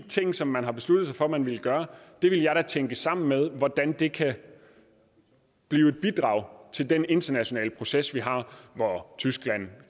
de ting som man har besluttet sig for at man vil gøre ville jeg da tænke sammen med hvordan det kan blive et bidrag til den internationale proces vi har og hvor tyskland